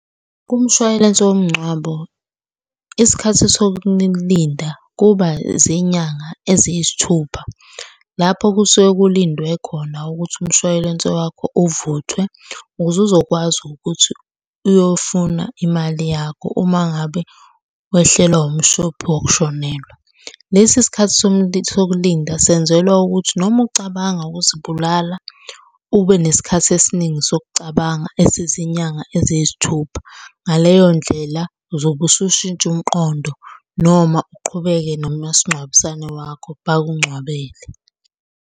Kumshwalense womngcwabo, isikhathi sokulinda kuba zinyanga eziyisithupha. Lapho kusuke kulindwe khona ukuthi umshwalense wakho uvuthwe ukuze uzokwazi ukuthi uyofuna imali yakho uma ngabe wehlelwa umshophi wokushonelwa. Lesi isikhathi sokulinda senzelwa ukuthi noma ucabanga ukuzibulala ube nesikhathi esiningi sokucabanga esizinyanga eziyisithupha. Ngaleyo ndlela uzobe usushintsha umqondo noma uqhubeke nomasingcwabisane wakho bakungcwabele.